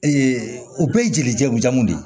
o bɛɛ ye jeli jago ja mun de ye